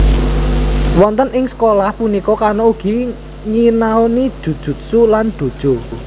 Wonten ing sekolah punika Kano ugi nyinaoni Jujutsu lan Dojo